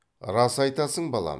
рас айтасың балам